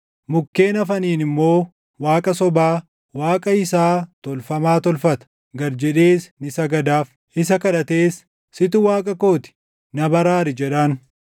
Mukkeen hafaniin immoo waaqa sobaa, // waaqa isaa tolfamaa tolfata; gad jedhees ni sagadaaf. Isa kadhatees, “Situ Waaqa koo ti; na baraari” jedhaan.